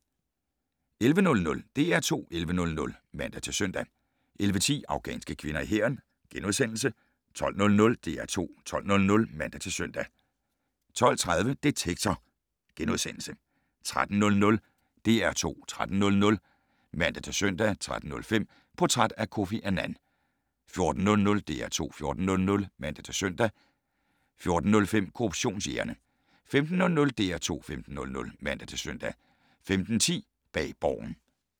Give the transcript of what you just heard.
11:00: DR2 11:00 (man-søn) 11:10: Afghanske kvinder i hæren * 12:00: DR2 12:00 (man-søn) 12:30: Detektor * 13:00: DR2 13:00 (man-søn) 13:05: Portræt af Kofi Annan 14:00: DR2 14:00 (man-søn) 14:05: Korruptionsjægerne 15:00: DR2 15:00 (man-søn) 15:10: Bag Borgen